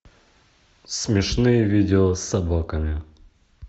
смешные видео с собаками